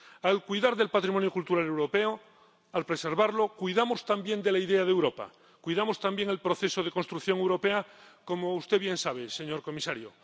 Al cuidar del patrimonio cultural europeo, al preservarlo, cuidamos también de la idea de Europa, cuidamos también del proceso de construcción europea, como usted bien sabe, señor comisario.